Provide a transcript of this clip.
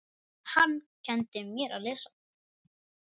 Hann kenndi mér að lesa.